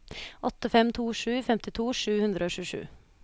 åtte fem to sju femtito sju hundre og tjuesju